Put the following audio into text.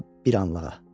Amma bir anlığa.